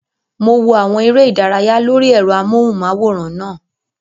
Mo wo àwọn eré ìdárayá lórí ẹ̀rọ amóhùnmáwòrán náà